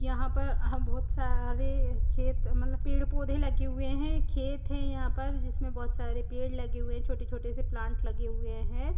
यहाँ पर आहा बोहोत सारे खेत मतलब पेड़ पौधे लगे हुए हैं। खेत है यहाँ पर जिसमें बोहोत सारे पेड़ लगे हुए छोटे-छोटे से प्लांट लगे हुए हैं।